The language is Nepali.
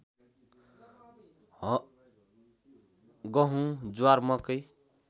गहुँ ज्वार मकै